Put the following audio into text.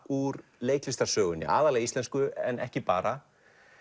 úr leiklistarsögunni aðallega íslensku en ekki bara